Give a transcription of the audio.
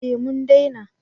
Eh mun dena